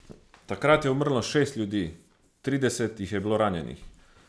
Takrat je umrlo šest ljudi, trideset jih je bilo ranjenih.